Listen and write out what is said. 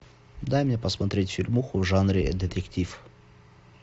дай мне посмотреть фильмуху в жанре детектив